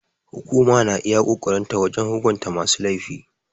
Hukuma na iya ƙoƙarin ta wajen hukunta masu laifi.